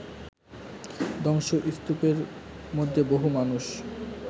ধ্বংসস্তুপের মধ্যে বহু মানুষ